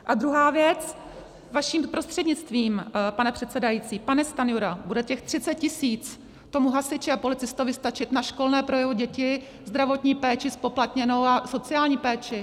A druhá věc, vaším prostřednictvím, pane předsedající, pane Stanjuro, bude těch 30 tisíc tomu hasiči a policistovi stačit na školné pro jeho děti, zdravotní péči zpoplatněnou a sociální péči?